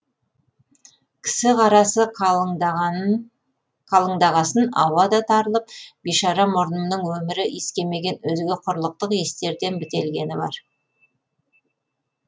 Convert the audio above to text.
кісі қарасы қалыңдағасын ауа да тарылып бишара мұрнымның өмірі иіскемеген мөзге құрлықтық иістерден бітелгені бар